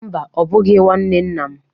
Mba, ọ bụghị nwanne nna m.